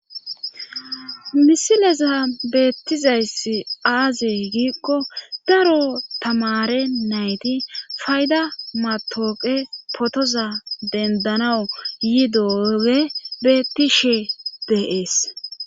Misileza beettizayssi aaze giikko daro tamare nayti fayda matooqe potoza dendanawu yi dooge beetishe deees.